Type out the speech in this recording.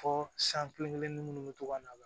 Fɔ san kelen-kelenni munnu be to ka na